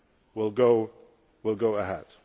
Agreement will